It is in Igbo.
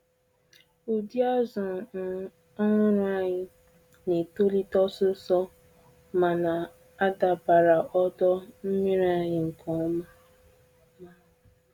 Ụdị azù um ọhụrụ anyị na-etolite osisor ma na-adabara ọdọ nmiri anyị nke ọma.